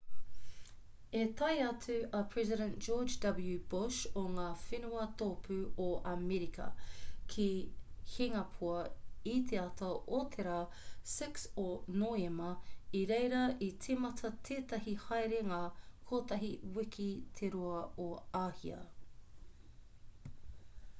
i tae atu a president george w bush o ngā whenua tōpū o amerika ki hingapoa i te ata o te rā 6 o noema i reira i tīmata tētahi haerenga kotahi wiki te roa o āhia